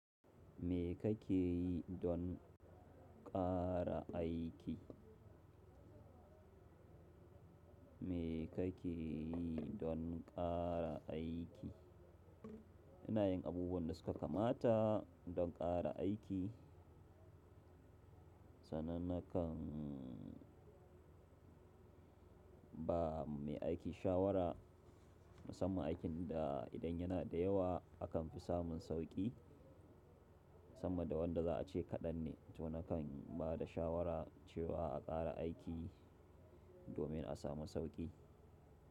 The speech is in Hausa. Me kake yi don ƙara aiki? Me kake yi don ƙara aiki? Ina yin abubuwan da suka kamata don ƙara aiki. Sananakan ba mai aiki shawara musamman aikin da idan yana da yawa akan fi samun sauƙi, samma da wanda za a ce kaɗan ne. To nakan ba da shawara cewa a ƙara aiki domin a samu sauƙi.